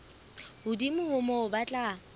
hodimo ho moo ba tla